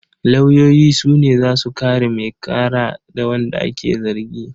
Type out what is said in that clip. Lauyoyi su ne za su kare mai ƙara da wanda ake zargi.